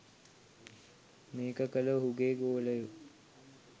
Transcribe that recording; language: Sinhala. මේක කළ ඔහුගේ ගෝලයෝ